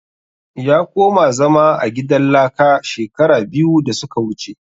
Ya koma zama a gidan laka shekara biyu da suka wuce